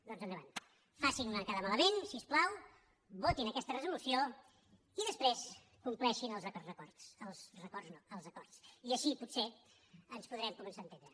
doncs endavant facin me quedar malament si us plau votin aquesta resolució i després compleixin els altres acords i així potser ens podrem començar a entendre